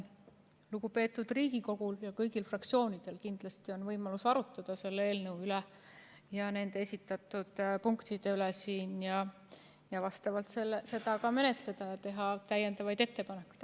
Lugupeetud Riigikogul ja kõigil fraktsioonidel on kindlasti võimalik arutada selles eelnõus esitatud punktide üle ning seda vastavalt ka menetleda ja teha täiendavaid ettepanekuid.